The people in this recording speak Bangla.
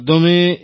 প্রেম জী হ্যাঁ